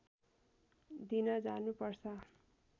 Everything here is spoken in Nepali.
दिन जानु पर्छ